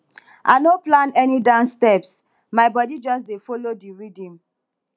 i no plan any dance steps my bodi just dey folo di rhythm